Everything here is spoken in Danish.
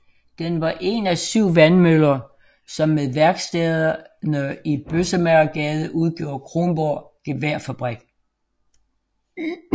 Den var en af syv vandmøller som med værkstederne i Bøssemagergade udgjorde Kronborg Geværfabrik